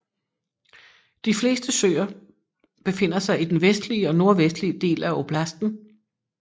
De fleste søer befinder sig i den vestlige og nordvestlige del af oblasten